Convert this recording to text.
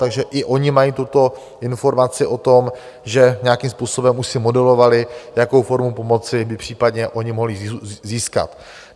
Takže i oni mají tuto informaci o tom, že nějakým způsobem už si modulovali, jakou formu pomoci by případně oni mohli získat.